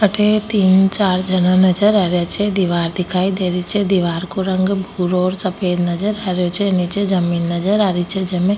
अठ तीन चार झना नजर आ रा छे दीवार दखाई दे रही छे दिवार को रंग भूरो और सफेद नजर आ रो छे निचे जमीन नजर आ री छे जमीन --